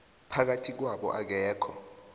phakathi kwabo akekho